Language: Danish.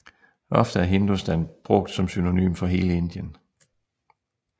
Ofte er Hindustan brugt som synonym for hele Indien